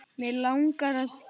Mig langar að gefa.